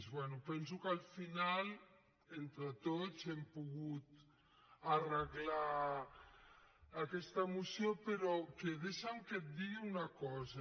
bé penso que al final entre tots hem pogut arreglar aquesta moció però deixa’m que et digui una cosa